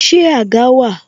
Ṣé àga wà?